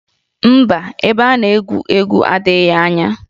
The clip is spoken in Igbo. Mba, ebe a na-egwu egwu adịghị anya